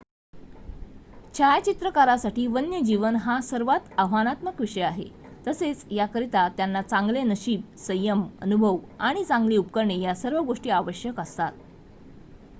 छायाचित्रकारासाठी वन्यजीवन हा सर्वात आव्हानात्मक विषय आहे तसेच याकरिता त्यांना चांगले नशीब संयम अनुभव आणि चांगली उपकरणे या सर्व गोष्टी आवश्यक असतात